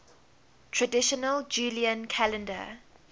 traditional julian calendar